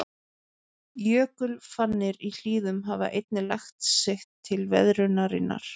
Jökulfannir í hlíðum hafa einnig lagt sitt til veðrunarinnar.